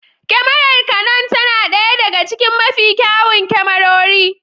Kyamarar Canon tana ɗaya daga cikin mafi kyawun kyamarori.